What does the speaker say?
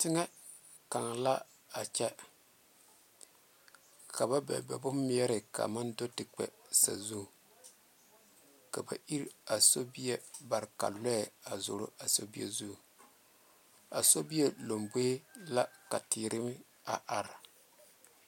Teŋa ka la a kyɛ ka ba bebe ba bon meɛre kaa maŋ do te kpɛ sazu ka ba iri a sobie bare ka lɔɛ zoro a so bie zu a so bie lanboɛ la ka teere a are.